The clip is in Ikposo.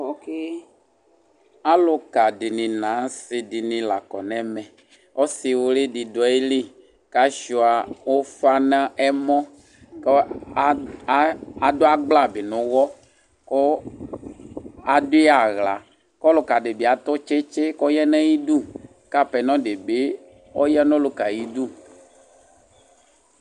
Aluka nu asidini la kɔ nu ɛmɛ ɔsiwli di du ayili kashua ufa nɛmɔ ku adu agbla nu uwɔ ku adui aɣla ku ɔluka di bi atu tsitsi ku ɔya nu ayidu apɛnɔ di bi ɔya nu ɔluka yɛ ayi du